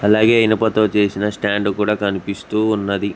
అలాగే ఇనుపతో చేసిన స్టాండ్ కూడా కనిపిస్తూ ఉన్నది.